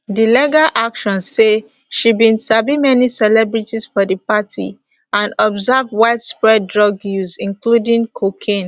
di legal action say she bin sabi many celebrities for di party and observe widespread drug use including cocaine